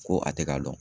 Ko a tɛ ka dɔn